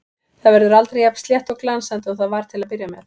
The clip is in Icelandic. Það verður aldrei jafn slétt og glansandi og það var til að byrja með.